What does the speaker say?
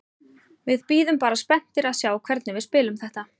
Við bíðum bara spenntir að sjá hvernig við spilum þetta.